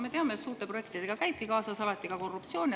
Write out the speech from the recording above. Me teame, et suurte projektidega käibki alati kaasas ka korruptsioon.